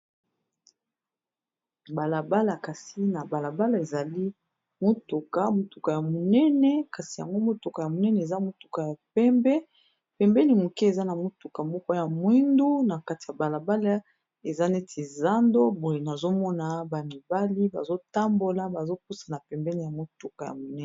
balabala kasi na balabala ezali motuka motuka ya monene kasi yango motuka ya monene eza motuka ya pembe pembeni moke eza na motuka moko ya mwindu na kati ya balabala eza neti zando boye nazomona bamibali bazotambola bazopusana pembeni ya motuka ya monene